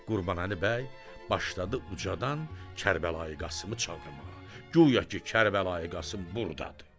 Qurbanəli bəy başladı ucadan Kərbəlayı Qasımı çağırmağa, guya ki, Kərbəlayı Qasım burdadır.